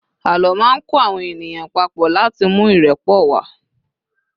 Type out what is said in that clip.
àlọ ma n kọ àwọn ènìyàn papo lati mú irepo wa